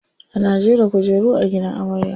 Ana jera kujeru a gidan amarya.